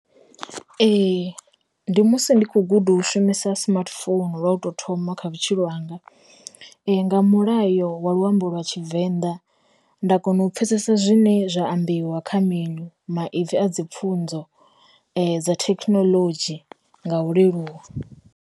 Ee, ndi musi ndi kho guda hu shumisa smartphone lwa u to thoma kha vhutshilo hanga, nga mulayo wa luambo lwa Tshivenḓa nda kona u pfesesa zwine zwa ambiwa kha maipfi a dzi pfhunzo dza thekinoḽodzhi nga u leluwa.